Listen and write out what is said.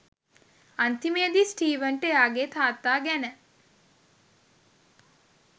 අන්තිමේදී ස්ටීවන්ට එයාගේ තාත්තා ගැන